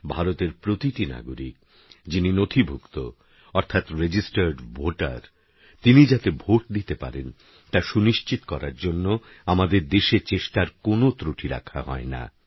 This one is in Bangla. ভারতের প্রতিটি নাগরিক যিনি নথিভুক্ত অর্থাৎ রেজিস্টার্ড ভোটার তিনি যাতে ভোট দিতে পারেন তা সুনিশ্চিত করার জন্যে আমাদের দেশে চেষ্টার কোনও ত্রুটি রাখা হয়না